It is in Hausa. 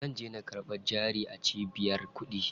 Zanje na karɓi jari a cibiyar kuɗi.